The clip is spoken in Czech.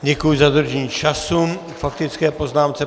Děkuji za dodržení času k faktické poznámce.